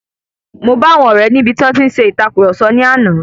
Mo bá àwọn ọ̀rẹ́ níbi tí wón ṣe ìtàkurọ̀sọ lánàá.